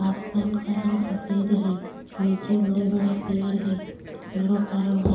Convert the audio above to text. आसमान का रंग सफेद है नीचे बड़े-बड़े पेड़ हैं पेड़ों का रंग हरा --